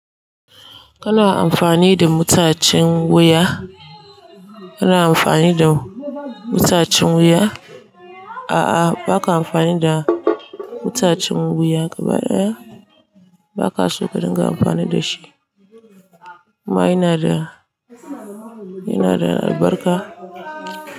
Kana amfani da mutacen wuya? Kana amfani da mutacin wuya? A'a, ba ka amfani da mutacen wuya. Gaba ɗaya ba ka so ka dinga amfani da shi. Amma yana da, yana da albarka.